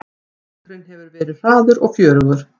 Leikurinn hefur verið hraður og fjörugur